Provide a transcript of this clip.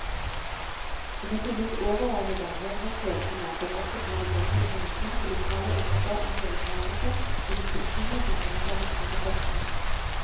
Det må finnes overordnede helhetsløsninger som også tar nødvendige hensyn til lokale ønsker om deltagelse i beslutninger som angår lokalbefolkningen.